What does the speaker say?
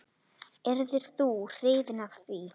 Yrðir þú hrifinn af því?